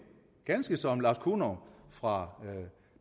ganske som lars kunov fra